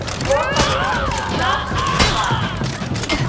просто нужно сейчас ему дать